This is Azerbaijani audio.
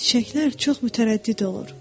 Çiçəklər çox mütərəddid olur.